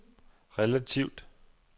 relativt